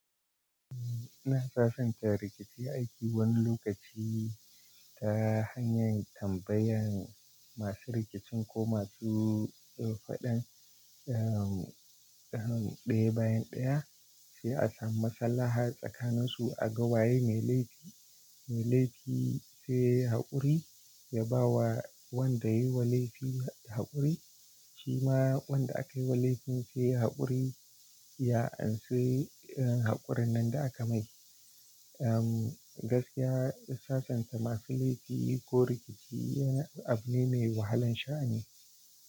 Ina sasanta rikici aiki wani lokaci ta hanyar tambayan masu rikicin ko masu faɗan, ehm, dam ɗaya bayan ɗaya, sai a samu matsala har tsakanansu a ga waye mai laifi, mai laifi sai yayi haƙuri ya ba wa wanda yi wa laifi haƙuri, shima wanda aka yi walifin sai haƙuri ya anse irin haƙurin nan da aka mai. Ehm, gaskiya sasanta masu laifi ko rikici yana abu ne mai wahalan sha'ani.